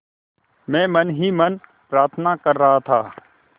मैं मन ही मन प्रार्थना कर रहा था